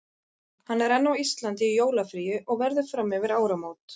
Hann er enn á Íslandi í jólafríi og verður fram yfir áramót.